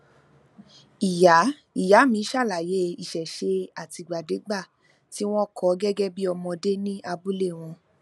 ìyá ìyá mi ṣàlàyé ìṣẹṣe àtìgbàdégbà tí wọn kọ gẹgẹ bí ọmọdé ní abúlé wọn